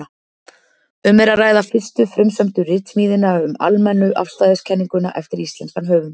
Um er að ræða fyrstu frumsömdu ritsmíðina um almennu afstæðiskenninguna eftir íslenskan höfund.